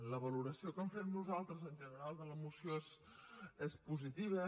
la valoració que en fem nosaltres en general de la moció és positiva